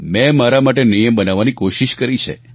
મેં મારા માટે નિયમ બનાવવાની કોશિશ કરી છે